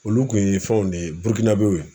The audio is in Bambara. Olu kun ye fɛnw de ye w ye.